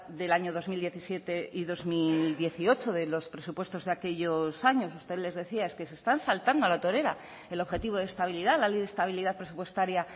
del año dos mil diecisiete y dos mil dieciocho de los presupuestos de aquellos años usted les decía es que se están saltando a la torera el objetivo de estabilidad la ley de estabilidad presupuestaria